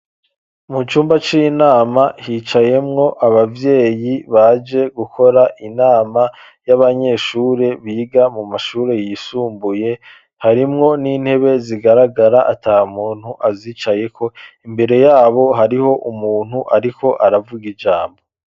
Mu cumba c'inama, hicayemwo abavyeyi, baje gukora inama, y'abanyeshuri, biga mu mashuri yisumbuye, harimwo n'intebe zigaragara, ata muntu azicayeko, imbere y'abo, hariho umuntu, ariko aravuga ijambo.